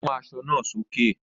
Mú aṣọ náà sókè!